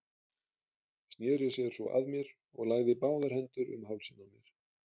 Sneri sér svo að mér og lagði báðar hendur um hálsinn á mér.